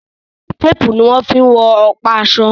Tépùù ní wọ́n fí ń wọn ọ̀pa aṣọ.